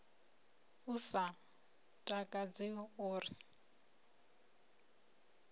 u sa takadzi o ri